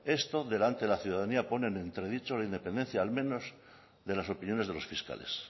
esto delante de la ciudadanía pone entredicho la independencia al menos de las opiniones de los fiscales